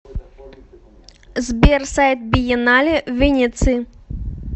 сбер сайт биеннале в венеции